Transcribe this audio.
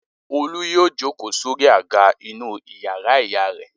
Olú yóò jókòó sórí àga inú ìyàrá ìyá rẹ̀.